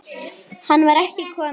Hann var ekki kominn.